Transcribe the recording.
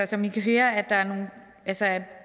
som i kan høre at